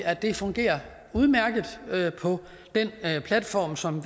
at det fungerer udmærket på den platform som